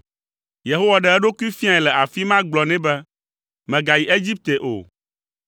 Yehowa ɖe eɖokui fiae le afi ma gblɔ nɛ be, “Mègayi Egipte o.